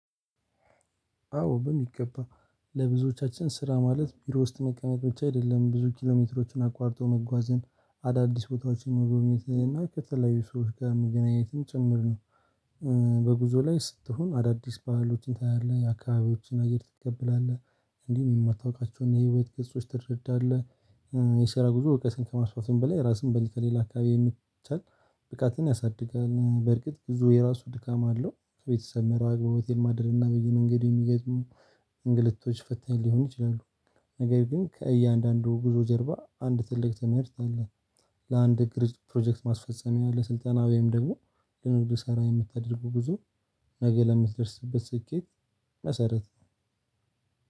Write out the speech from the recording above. አዎ በሚገባ ለብዙዎቻችን ስራ ማለት ቢሮ ውስጥ መቀመጥ ብቻ አይደለም ብዙ ኪሎሜትሮችን አቋርጦ መጓዝን አዳዲስ ቦታዎችን መጎብኘትን እና ከተለያዩ ሰዎች ጋር መገናኘትም ጭምር ነው። በጉዞ ላይ ስትሆን አዳዲስ ባህሎችን ታያለህ የአካባቢዎችን አየር ትቀበላለህ እንዲሁም የማታውቃቸውን የህይወት ገጾች ትረዳለህ የሰራ ጉዞ እውቀትን ከማስፋትም በላይ ራስን ከሌላ አካባቢ የሚቻል ብቃትን ያሳድጋል። በርግጥ ብዙ የራሱ ድካም አለው ከቤተሰብ መራቅ በሆቴል ማደር እና በየመንገዱ የሚገጥሙ እንግልቶች ፈታኝ ሊሆን ይችላሉ። ነገር ግን ከእያንዳንዱ ጉዞ ጀርባ አንድ ትልቅ ትምህርት አለ። ለአንድ ቅርጽ ፕሮጀክት ማስፈጸሚያ ለስልጠና ወይም ደግሞ ለንግድ ስራ የምታደርገው ጉዞ። ነገ ለምትደርስበት ስኬት መሰረት።